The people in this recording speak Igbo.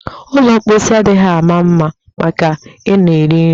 Ụlọ mposi adịghị mma maka ị nọ eri nri